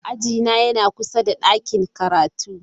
Ajina yana kusa da ɗakin karatu.